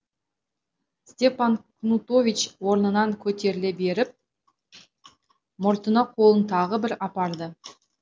степан кнутович орнынан көтеріле беріп мұртына қолын тағы бір апарды